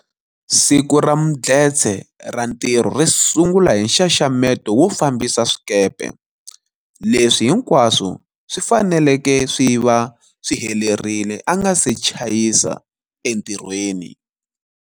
Siku ra Mdletshe ra ntirho ri sungula hi nxanxameto wo fambisa swikepe, leswi hinkwaswo swi faneleke swi va swi helerile a nga se chayisa entirhweni.